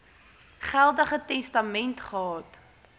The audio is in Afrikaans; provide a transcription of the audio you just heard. geldige testament gehad